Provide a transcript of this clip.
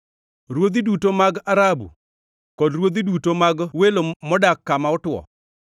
ruodhi duto mag Arabu kod ruodhi duto mag welo modak kama otwo;